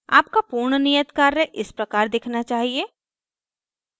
आपका पूर्ण नियत कार्य इस प्रकार दिखना चाहिए